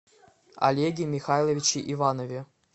олеге михайловиче иванове